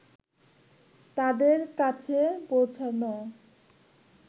তাদের কাছে পৌঁছানো